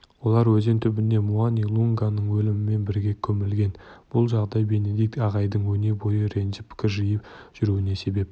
олар өзен түбіне муани-лунганың елігімен бірге көмілген бұл жағдай бенедикт ағайдың өнебойы ренжіп кіржиіп жүруіне себеп